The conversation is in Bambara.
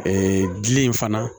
Ee gili in fana